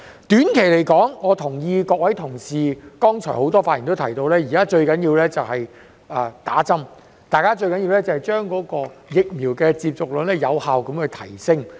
短期而言，我同意剛才很多同事在發言所提到，現時最重要的是接種疫苗，將疫苗接種率有效提升。